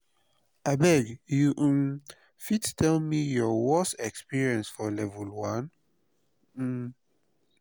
abeg you um fit tell me your worse experience for level 1? um